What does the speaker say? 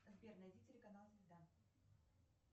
сбер найди телеканал звезда